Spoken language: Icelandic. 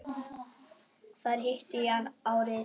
Þar hitti ég hann árið